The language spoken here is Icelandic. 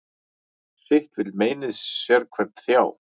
Sitt vill meinið sérhvern þjá.